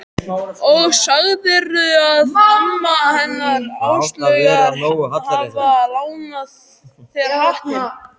Og sagðirðu að amma hennar Áslaugar hafi lánað þér hattinn?